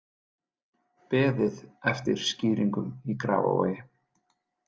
Beðið eftir skýringum í Grafarvogi